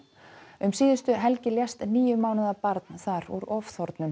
um síðustu helgi lést níu mánaða barn þar úr